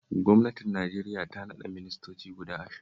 Gwamnatin Najeriya ta naɗa ministoci guda ashirin